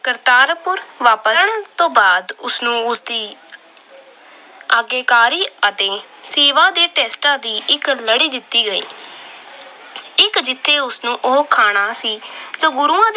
ਕਰਤਾਰਪੁਰ ਵਾਪਸ ਆਉਣ ਤੋਂ ਬਾਅਦ ਉਸ ਨੂੰ ਉਸਦੀ ਆਗਿਆਕਾਰੀ ਅਤੇ ਸੇਵਾ ਦੇ test ਦੀ ਇੱਕ ਲੜੀ ਦਿੱਤੀ ਗਈ। ਇੱਕ ਜਿਥੇ ਉਹ ਖਾਣਾ ਸੀ ਤੇ ਗੁਰੂ